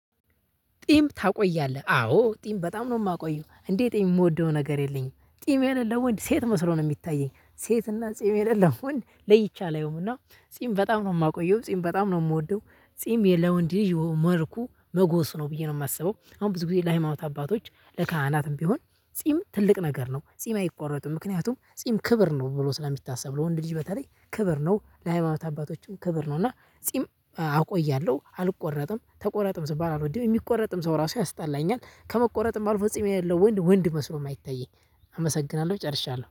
ጢም ታቆያለህ አዎ ጢም በጣም ነው የማቆየው እንደ ጢም የምወደው ነገር የለኝም። ጢም የሌለው ወንድ ሴት መስሎ ነው የሚታየኝ ሴትና ጺም የሌለው ወንድ ለይቼ አላየውም። እና ጺም በጣም ነው የማቆየው ጺም በጣም ነው የምወደው ጺም የ ለወንድ ልጂ መልኩ መጎስ ነው ብዬ ነው የማስበው። አሁን ብዙ ጊዜ ለሃይማኖት አባቶች ለካህናትም ቢሆን ጺም ትልቅ ነገር ነው። ጺም አይቆረጥም ምክንያቱም ጺም ክብር ነው ብሎ ስለሚታሰብ። ለወንድ ልጅ በተለይ ክብር ነው ለሃይማኖት አባቶችም ክብር ነው። እና ጺም አቆያለሁ አልቆረጥም ተቆረጥም ስባል አልወድም የሚቆረጥም ሰው ራሱ ያስጠላኛል። ከመቆረጥም አልፎ ጺም የለው ወንድ ወንድ መስሎም አይታየኝ። አመሰግናለሁ ጨርሻለሁ